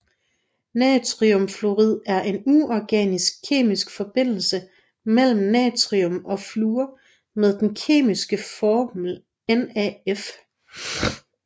Natriumfluorid er en uorganisk kemisk forbindelse mellem natrium og fluor med den kemiske formel NaF